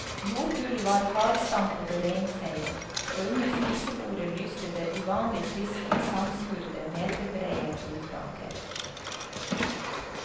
Jordgulvet var hardstampet og renfeiet, og under spisebordet lyste det uvanlig friskt i sandskurede, meterbrede gulvplanker.